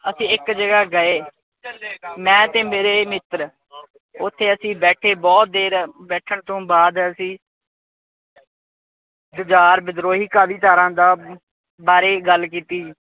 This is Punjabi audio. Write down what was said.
ਅਸੀਂ ਇੱਕ ਜਗ੍ਹਾ ਗਏ। ਮੈਂ ਤੇ ਮੇਰੇ ਮਿੱਤਰ। ਓਥੇ ਅਸੀਂ ਬੈਠੇ ਬਹੁਤ ਦੇਰ, ਬੈਠਣ ਤੋਂ ਬਾਦ ਅਸੀਂ ਜੁਝਾਰ ਵਿਧਰੋਹੀਧਾਰਾ ਦਾ ਬਾਰੇ ਗੱਲ ਕੀਤੀ